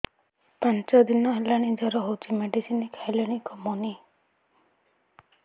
ପାଞ୍ଚ ଦିନ ହେଲାଣି ଜର ହଉଚି ମେଡିସିନ ଖାଇଲିଣି କମୁନି